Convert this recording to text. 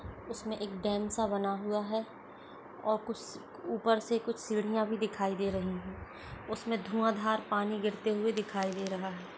उसमे एक डैम सा बना हुआ है और कुस-ऊपर से कुछ सीढ़ियां भी दिखाई दे रही हैं उसमे धुंवा धार पानी गिरते हुए दिखाई दे रहा है ।